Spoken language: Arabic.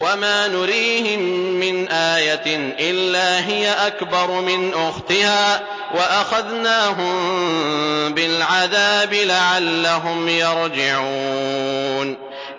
وَمَا نُرِيهِم مِّنْ آيَةٍ إِلَّا هِيَ أَكْبَرُ مِنْ أُخْتِهَا ۖ وَأَخَذْنَاهُم بِالْعَذَابِ لَعَلَّهُمْ يَرْجِعُونَ